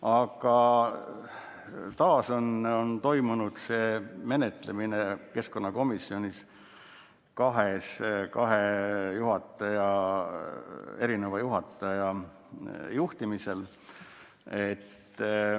Aga taas toimus menetlemine keskkonnakomisjonis kahe juhataja juhtimisel.